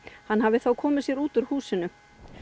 hann hafi þá komið sér út úr húsinu